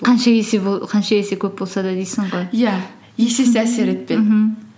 қанша есе көп болса да дейсің ғой иә есесі әсер етпеді мхм